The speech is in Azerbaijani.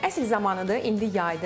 Əsl zamanıdır, indi yaydır.